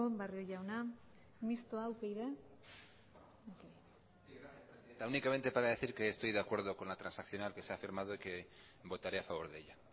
barrio jauna mistoa upyd únicamente para decir que estoy de acuerdo con la transaccional que se ha firmado y que votaré a favor de ella